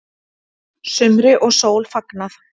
Sumri og sól fagnað